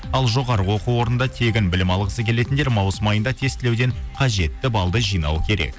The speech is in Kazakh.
ал жоғары оқу орнында тегін білім алғысы келетіндер маусым айында тестілеуден қажетті балды жинауы керек